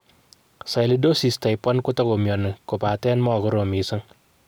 Sialidosis type I kotago mioni kopaten magorom kot mising.